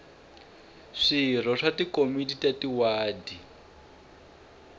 swirho swa tikomiti ta tiwadi